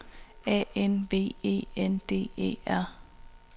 A N V E N D E R